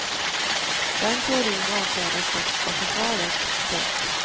Den teorin avfärdas dock av försvaret. punkt